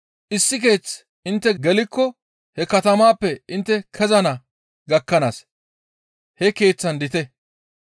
Issi keeththe intte gelikko he katamaappe intte kezana gakkanaas he keeththaan diite.